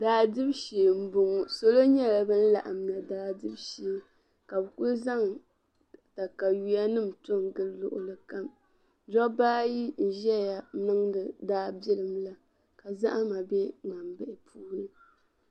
Daa dibu shee n bɔŋɔ , salɔ nyɛla ban laɣim na daa dibu shee, kabɛkuli zaŋ takayuya nim n to n gili luɣili kam, dɔbaayi ʒɛya n niŋdi daabilim la ka zahi ma be mŋanbihi puuni